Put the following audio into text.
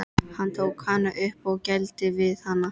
Hann tók hana upp og gældi við hana.